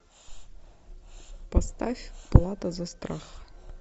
поставь плата за страх